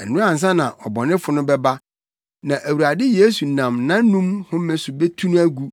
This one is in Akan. Ɛno ansa na ɔbɔnefo no bɛba, na Awurade Yesu nam nʼanom home so betu no agu,